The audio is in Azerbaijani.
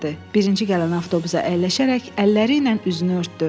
Birinci gələn avtobusa əyləşərək əlləri ilə üzünü örtdü.